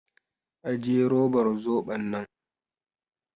Ajiye robar zoɓon nan!